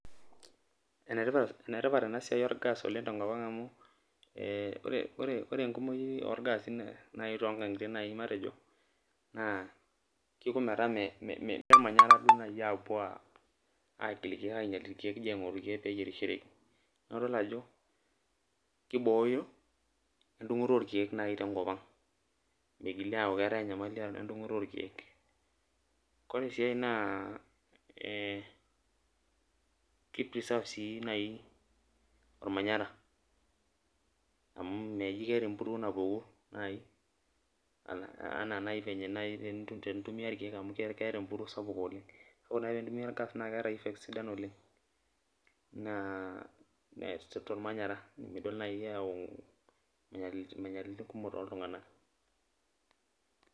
Enetipat enasiai orgas tenkop aang amu ore enkumoi orgasi na kepuoi agilu irkiek ayierishoreki na idol ajo kibooyo emdungoto orkiek tenkop aang mitoki aaku keetae endungoto orkiek ore si enkae naormanyara amu mejibleeta empuruo napuku ana nai enitumia irkiek amu keeta empuruo sapuk oleng ore nai pintumia nakesidai oleng tormanyara meeta moyiaritin kumok toltunganak